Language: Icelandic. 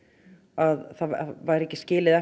að það væri ekki skilið